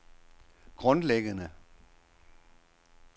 grundlæggende